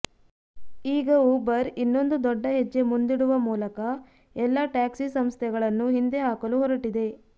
ಈಗ ಊಬರ್ ಇನ್ನೊಂದು ದೊಡ್ಡ ಹೆಜ್ಜೆ ಮುಂದಿಡುವ ಮೂಲಕ ಎಲ್ಲ ಟ್ಯಾಕ್ಸಿ ಸಂಸ್ಥೆಗಳನ್ನು ಹಿಂದೆ ಹಾಕಲು ಹೊರಟಿದೆ